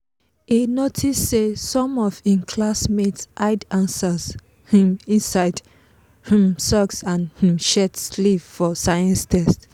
e notice say some of im classmates hide answers um inside um socks and um shirt sleeve for science test.